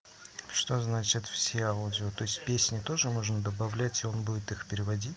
что значит все аудио то есть песни тоже можно добавлять и он будет их переводи